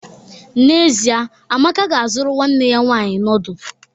N'ezie, Amaka ga-azụrụ nwanne ya nwanyị noodu.